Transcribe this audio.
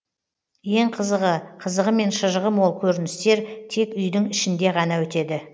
ең қызығы қызығы мен шыжығы мол көріністер тек үйдің ішінде ғана өтеді